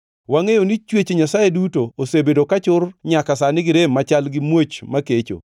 Wangʼeyo ni chwech Nyasaye duto osebedo ka chur nyaka sani gi rem machal gi muoch makecho.